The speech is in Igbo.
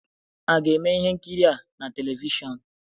A ga-eme ihe nkiri a na televishọn?